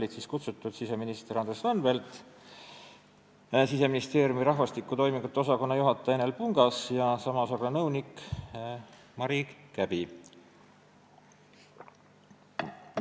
Istungile olid kutsutud siseminister Andres Anvelt, Siseministeeriumi rahvastiku toimingute osakonna juhataja Enel Pungas ja sama osakonna nõunik Mari Käbi.